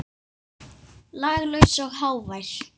Laglaus og hávær.